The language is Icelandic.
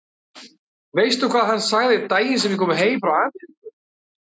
Veistu hvað hann sagði daginn sem ég kom heim frá Ameríku?